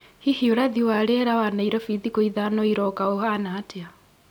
hihi ũrathi wa rĩera wa nairobi thikũ ithano irooka ũhana atĩa